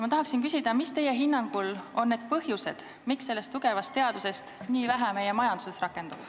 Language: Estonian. Ma tahan teada, mis teie hinnangul on need põhjused, miks sellest tugevast teadusest nii vähe meie majanduses rakendub.